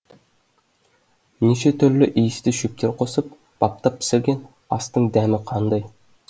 неше түрлі иісті шөптер қосып баптап пісірген астың дәмі қандай